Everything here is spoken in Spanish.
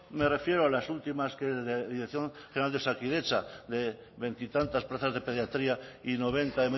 me refiero a las últimas de dirección general de osakidetza de veintitantas plazas de pediatría y noventa